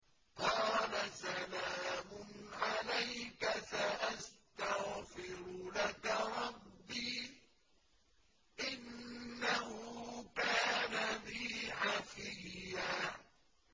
قَالَ سَلَامٌ عَلَيْكَ ۖ سَأَسْتَغْفِرُ لَكَ رَبِّي ۖ إِنَّهُ كَانَ بِي حَفِيًّا